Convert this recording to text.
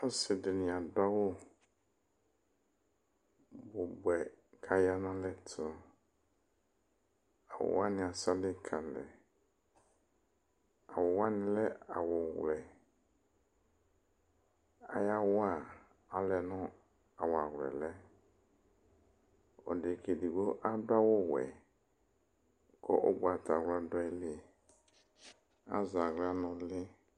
Ɔsidini adu awu bubuɛ ku aya nu alɛ tu Awuwani asali ku alɛ Awuwani lɛ awu wlɛ Ayawa alɛna yɛ awlɛawu lɛ Ɔdekaedigbo adu awu wɛ ku ugbatawla du ayili azaɣla nu uli